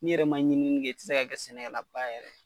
N'i yɛrɛ ma ɲinini kɛ i ti se ka kɛ sɛnɛkɛlaba yɛrɛ ye.